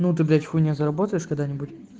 ну ты блять хуйня заработаешь когда-нибудь